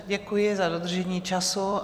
Děkuji za dodržení času.